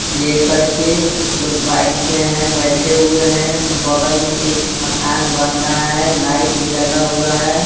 लेकर के कुछ लोग बाइक से हैं बैठे हुए हैं बगल में एक मकान बन रहा है लाइट भी लगा हुआ है।